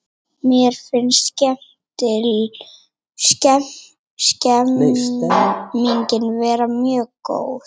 Mér finnst stemningin vera mjög góð